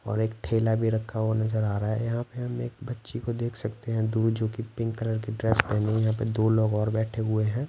और एक ठेला भी रखा हुआ नजर आ रहा है यहाँ पे हम एक बच्ची को देख सकते है दूर जो कि पिंक कलर की ड्रेस पेहनी है यहाँ पे दो लोग और बैठे हुए हैं।